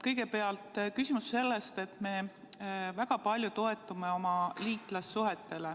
Kõigepealt küsimus sellest, et me väga palju toetume oma liitlassuhetele.